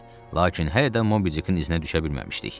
Lakin hələ də Mobidikin izinə düşə bilməmişdik.